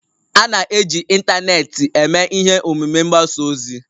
A na-eji ịntanetị eme ihe omume mgbasa ozi ọha